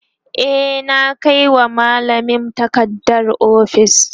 e na Kai wa mallamin takarda ofis